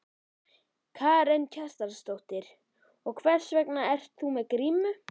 Karen Kjartansdóttir: Og hvers vegna ert þú með grímu?